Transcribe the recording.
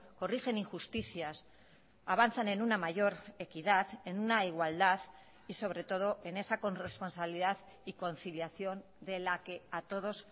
corrigen injusticias avanzan en una mayor equidad en una igualdad y sobre todo en esa corresponsabilidad y conciliación de la que a todos